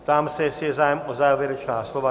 Ptám se, jestli je zájem o závěrečná slova.